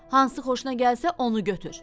Hansı xoşuna gəlsə, onu götür.